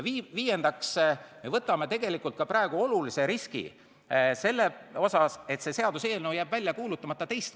Viiendaks, me võtame praegu olulise riski, et see seaduseelnõu jääb ka teist korda välja kuulutamata.